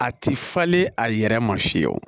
A ti falen a yɛrɛ ma fiyɛ wo